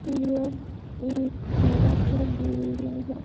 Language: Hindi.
यह एक बड़ा सा मिरर है।